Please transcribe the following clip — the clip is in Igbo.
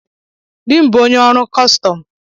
Di m bụ onye ọrụ kọstọm.